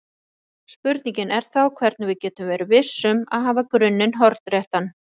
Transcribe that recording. Spurningin er þá hvernig við getum verið viss um að hafa grunninn hornréttan.